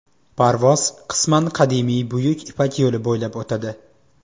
Parvoz qisman qadimiy Buyuk ipak yo‘li bo‘ylab o‘tadi.